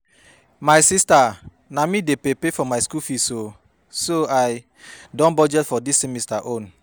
My sister na me dey pay pay for my school fees oo so I don budget for dis semester own